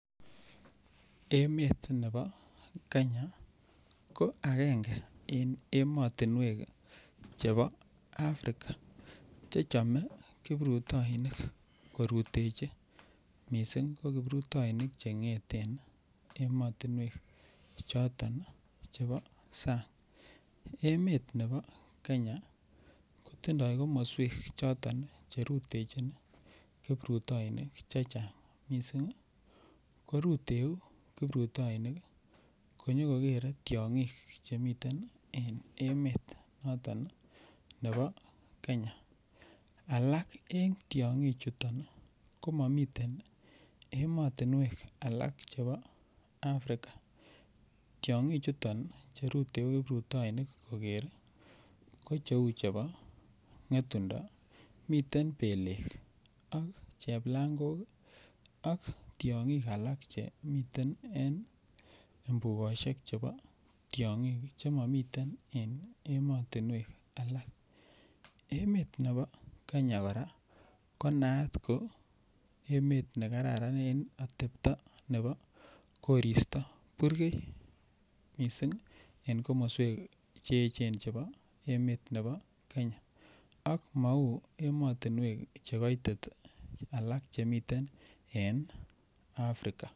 Emet nebo Kenya ko agenge emotinwek chebo Africa Che chome kiprutoinik korutechi mising ko kiprutoinik Che ngeten emotinwek chebo sang emet nebo Kenya kotindoi komoswek choton Che rutechin kiprutoinik chechang mising koruteu kiprutoinik konyo kogere tiongik Che miten en emonito bo Kenya alak en tiongichuto ko mamiten alak chebo Africa tiongichuto Che ruteu kiprutoinik koger ko cheu chebo ngetundo miten belek ak cheplangok ak tiongik alak Che miten en mbugosiek chebo tiongik Che momiten en emotinwek alak emet nebo Kenya kora ko naat ne kararan en atepto nebo koristo burgei mising en komoswek Che echen chebo kenya ak mou emotinwek Che koitit alak Che miten en Africa